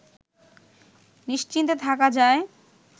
নিশ্চিন্তে থাকা যায়